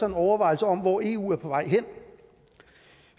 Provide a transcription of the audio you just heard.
en overvejelse om hvor eu er på vej hen